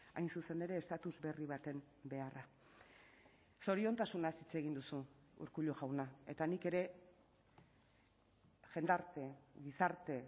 hain zuzen ere estatus berri baten beharra zoriontasunaz hitz egin duzu urkullu jauna eta nik ere jendarte gizarte